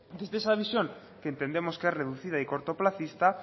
desde esa visión que entendemos que es reducida y cortoplacista